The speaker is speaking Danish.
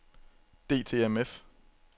DTMF